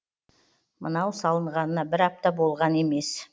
мынау салынғанына бір апта болған емес